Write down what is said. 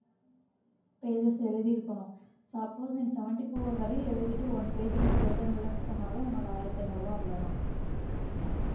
pages எழுதி இருக்கணும். suppose நீ seventy four வரையும் எழுதிட்டு one page மட்டும் எழுத முடியலைன்னு சொன்னாலும் உன்னோட ஆயிரத்தி ஐந்நூறு ரூபாய் அவ்வளவுதான்